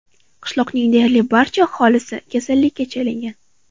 Qishloqning deyarli barcha aholisi kasallikka chalingan.